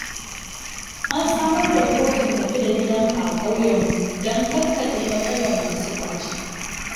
An samar da kotun tafi-da-gidanka a ƙauyenmu dan kakkaɓe matsalar masu ƙwace.